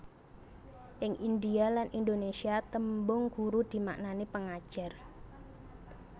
Ing Indhia lan Indonesia tembung guru dimaknani pengajar